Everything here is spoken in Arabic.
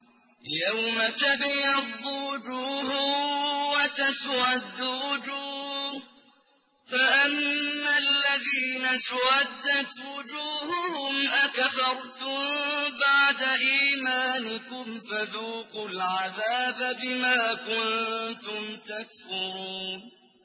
يَوْمَ تَبْيَضُّ وُجُوهٌ وَتَسْوَدُّ وُجُوهٌ ۚ فَأَمَّا الَّذِينَ اسْوَدَّتْ وُجُوهُهُمْ أَكَفَرْتُم بَعْدَ إِيمَانِكُمْ فَذُوقُوا الْعَذَابَ بِمَا كُنتُمْ تَكْفُرُونَ